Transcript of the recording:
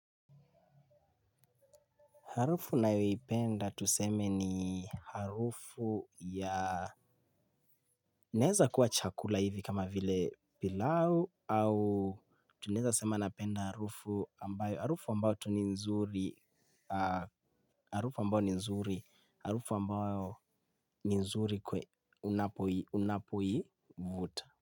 Harufu nayoeipenda tuseme ni harufu ya nezakuwa chakula hivi kama vile pilau au tunezasema napenda harufu ambayo, harufu ambayo tu ni nzuri, harufu ambayo ni nzuri, harufu ambayo ni nzuri kwe unapoivuta.